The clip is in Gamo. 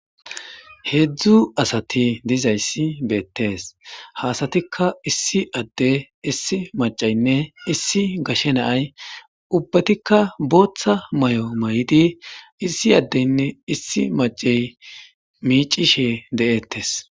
heedzdzu asati dizayssi beettees haasatikka issi adde issi maceynne issi gashe naay ubbatikka booththa may7o may7di issi addeynne issi macey miicishe de7eettes